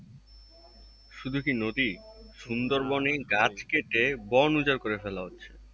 শুধুকি নদী? সুন্দরবনের গাছ কেটে বোন উজাড় করে ফেলা হচ্ছে।